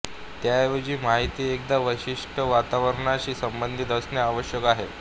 त्याऐवजी माहिती एखाद्या विशिष्ट वातावरणाशी संबंधित असणे आवश्यक आहे